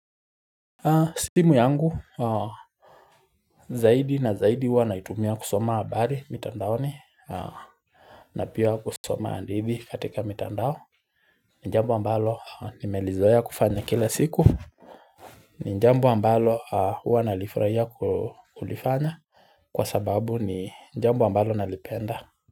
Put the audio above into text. Simu yangu zaidi na zaidi huwa naitumia kusoma habari mitandaoni. Na pia kusoma hadithi katika mitandao. Ni jambo ambalo nimelizoea kufanya kila siku ni jambo ambalo huwa nalifurahia kulifanya kwa sababu ni jambo ambalo nalipenda.